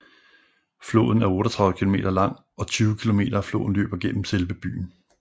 Floden er 38 km lang og 20 km af floden løber gennem selve byen